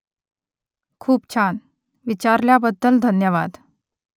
खूप छान . विचारल्याबद्दल धन्यवाद